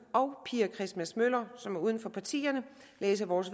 og pia christmas møller som er uden for partierne læse vores